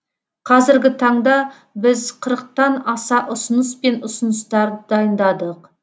қазіргі таңда біз қырықтан аса ұсыныс пен ұсыныстарды дайындадық